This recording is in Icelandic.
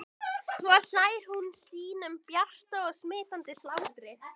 Svo hlær hún sínum bjarta og smitandi hlátri.